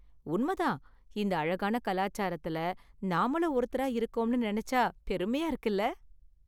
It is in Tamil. உண்மை தான், இந்த அழகான கலாச்சாரத்துல நாமளும் ஒருத்தரா இருக்கோம்னு நினைச்சா பெருமையா இருக்குல?